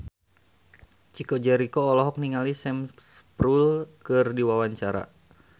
Chico Jericho olohok ningali Sam Spruell keur diwawancara